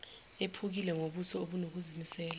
ephukile ngobuso obunokuzimisela